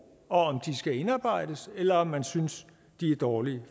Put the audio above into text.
og om skal indarbejdes eller om man synes de er dårlige